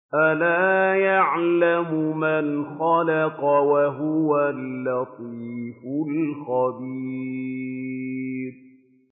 أَلَا يَعْلَمُ مَنْ خَلَقَ وَهُوَ اللَّطِيفُ الْخَبِيرُ